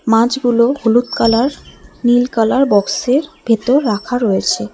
মাছগুলো হলুদ কালার নীল কালার বক্সের ভেতর রাখা রয়েছে।